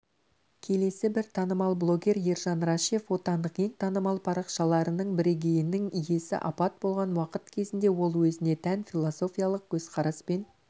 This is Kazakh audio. келесі бір танымал блогер ержан рашев отандық ең танымал парақшаларының бірегейінің иесі апат болған уақыт кезінде ол өзіне тән философиялық көзқараспен